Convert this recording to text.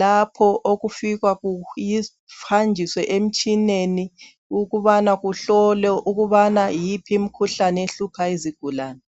lapho okufika kuhanjiswe emitshineni ukubana kuhlowe ukubana yiphi imkhuhlane ehlupha izigulane.